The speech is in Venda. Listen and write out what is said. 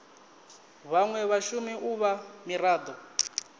vhanwe vhashumi u vha mirado